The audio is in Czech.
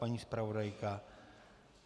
Paní zpravodajka?